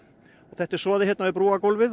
þetta er soðið hérna við